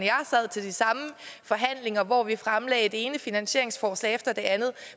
og til de samme forhandlinger hvor vi fremlagde det ene finansieringsforslag efter det andet